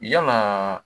Yalaa